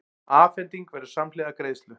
Afhending verður samhliða greiðslu